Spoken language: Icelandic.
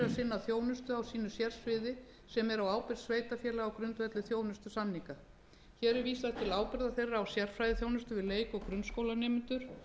að sinna þjónustu á sínu sérsviði sem er á ábyrgð sveitarfélaga á grundvelli þjónustusamninga hér er vísað til ábyrgðar þeirra á sérfræðiþjónustu við leik og grunnskólanemendur